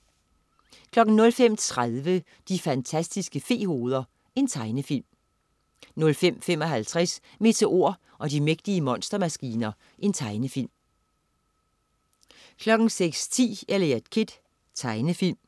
05.30 De fantastiske fe-hoveder. Tegnefilm 05.55 Meteor og de mægtige monstermaskiner. Tegnefilm 06.10 Eliot Kid. Tegnefilm